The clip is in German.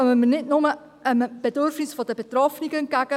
Damit kommen wir nicht nur einem Bedürfnis der Betroffenen entgegen;